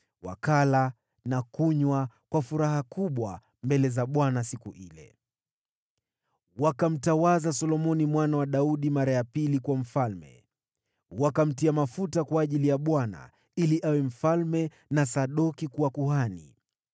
Wakala na kunywa kwa furaha kubwa mbele za Bwana siku ile. Wakamtawaza Solomoni mwana wa Daudi mara ya pili kuwa mfalme, wakamtia mafuta kwa ajili ya Bwana ili awe mfalme na Sadoki kuwa kuhani.